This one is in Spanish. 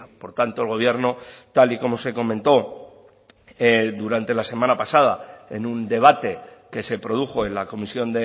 por tanto el gobierno tal y como se comentó durante la semana pasada en un debate que se produjo en la comisión